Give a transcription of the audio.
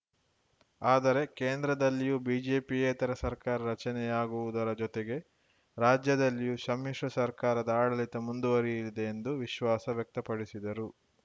ಆದರೆ ಕೇಂದ್ರದಲ್ಲಿಯೂ ಬಿಜೆಪಿಯೇತರ ಸರ್ಕಾರ ರಚನೆಯಾಗುವುದರ ಜೊತೆಗೆ ರಾಜ್ಯದಲ್ಲಿಯೂ ಶಮ್ಮಿಶ್ರ ಸರ್ಕಾರದ ಆಡಳಿತ ಮುಂದುವರಿಯಲಿದೆ ಎಂದು ವಿಶ್ವಾಸ ವ್ಯಕ್ತಪಡಿಸಿದರು